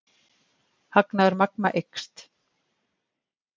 Hagnaður Magma eykst